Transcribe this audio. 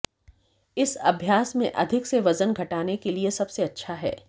इस अभ्यास में अधिक से वजन घटाने के लिए सबसे अच्छा है